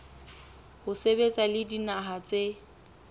ho sebetsa le dinaha tse